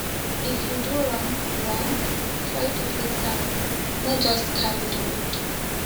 um if you do wrong wrong try to fix am no just carry di load